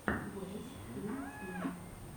уэс и флинн